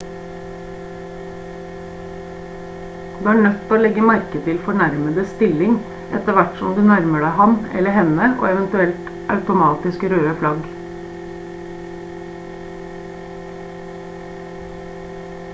du er nødt til å legge merke til fornærmedes stilling etter hvert som du nærmer deg ham eller henne og eventuelle automatiske røde flagg